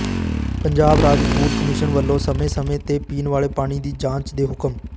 ਪੰਜਾਬ ਰਾਜ food commission ਵੱਲੋਂ ਸਮੇਂ ਸਮੇਂ ਤੇ ਪੀਣ ਵਾਲੇ ਪਾਣੀ ਦੀ ਜਾਂਚ ਦੇ ਹੁਕਮ